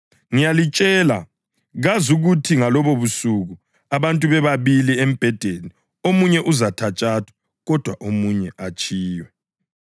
Ngiyalitshela, kuzakuthi ngalobobusuku abantu bebabili embhedeni omunye uzathathwa, kodwa omunye atshiywe.